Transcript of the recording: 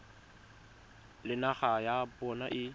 le naga ya bona e